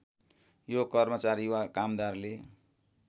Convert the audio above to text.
यो कर्मचारी वा कामदारले